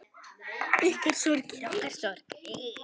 Ykkar sorg er okkar sorg.